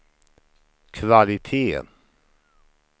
kvalitet